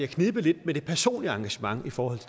knebet lidt med det personlige engagement i forhold